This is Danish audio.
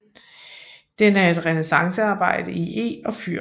Den er et renæssancearbejde i eg og fyr